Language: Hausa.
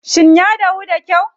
Shin ya dahu da kyau?